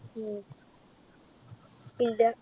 ഇല്ല.